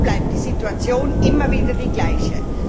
So bleibt die Situation immer wieder die gleiche.